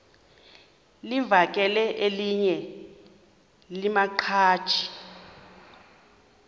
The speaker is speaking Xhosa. livakele elinye lamaqhaji